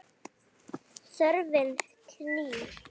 Þörfin knýr.